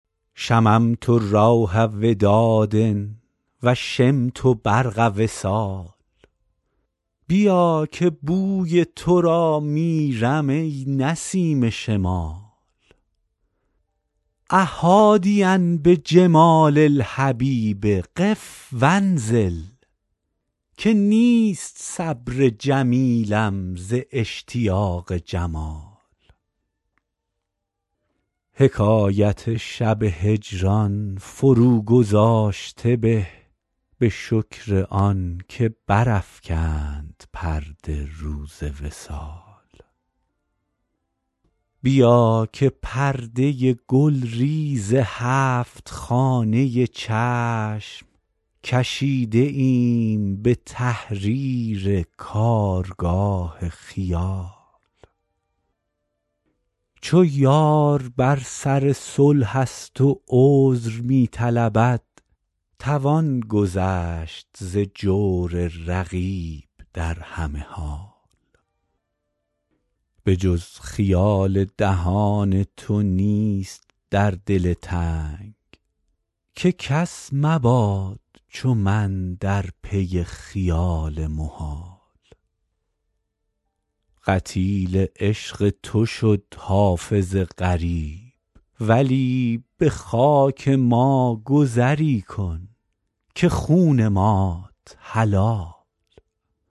شممت روح وداد و شمت برق وصال بیا که بوی تو را میرم ای نسیم شمال أ حادیا بجمال الحبیب قف و انزل که نیست صبر جمیلم ز اشتیاق جمال حکایت شب هجران فروگذاشته به به شکر آن که برافکند پرده روز وصال بیا که پرده گلریز هفت خانه چشم کشیده ایم به تحریر کارگاه خیال چو یار بر سر صلح است و عذر می طلبد توان گذشت ز جور رقیب در همه حال به جز خیال دهان تو نیست در دل تنگ که کس مباد چو من در پی خیال محال قتیل عشق تو شد حافظ غریب ولی به خاک ما گذری کن که خون مات حلال